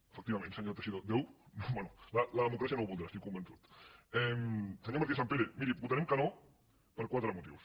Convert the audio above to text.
efectivament senyor teixidó bé la democràcia no ho voldrà n’estic convençut senyora martínez sampere miri votarem que no per quatre motius